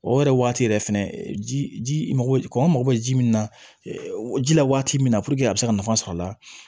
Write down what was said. O yɛrɛ waati yɛrɛ fɛnɛ ji mago kɔnɔn mago bɛ ji min na ji la waati min na a bɛ se ka nafa sɔrɔ a la